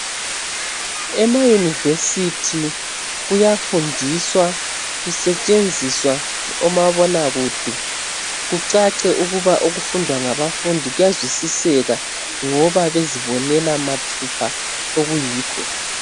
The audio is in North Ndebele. Emayunivesithi kuyafundiswa kusetshenziswa omabonakude kucace ukuba okufundwa ngabafundi kuyazwisiseka ngoba bezibonela mathupha okuyikho.